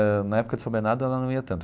Ãh na época de São Bernardo, ela não ia tanto.